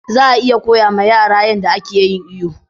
Za a iya koya ma yara yanda a ke yin iyo